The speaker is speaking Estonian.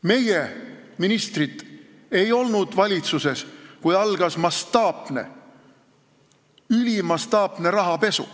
Meie ministrid ei olnud valitsuses, kui algas ülimastaapne rahapesu.